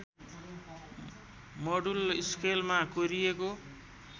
module स्केलमा कोरिएको